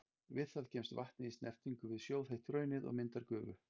Við það kemst vatnið í snertingu við sjóðheitt hraunið og myndar gufu.